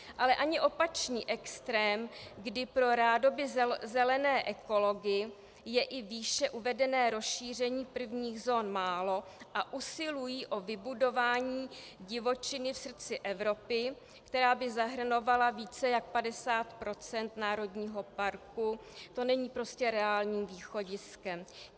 Ale ani opačný extrém, kdy pro rádoby zelené ekology je i výše uvedené rozšíření prvních zón málo a usilují o vybudování divočiny v srdci Evropy, která by zahrnovala více než 50 % národního parku, to není prostě reálné východisko.